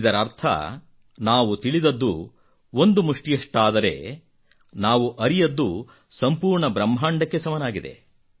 ಇದರರ್ಥ ನಾವು ತಿಳಿದದ್ದು ಒಂದು ಮುಷ್ಠಿಯಷ್ಟಾದರೆ ನಾವು ಅರಿಯದ್ದು ಸಂಪೂರ್ಣ ಬ್ರಹ್ಮಾಂಡಕ್ಕೆ ಸಮನಾಗಿದೆ